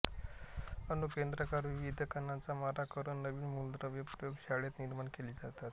अणू केंद्रकावर विविध कणांचा मारा करून नवीन मूलद्रव्ये प्रयोगशाळेत निर्माण केली जातात